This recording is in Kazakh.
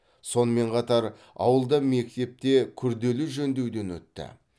сонымен қатар ауылда мектеп те күрделі жөндеуден өтті